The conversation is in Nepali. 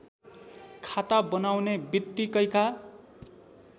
खाता बनाउने बित्तिकैका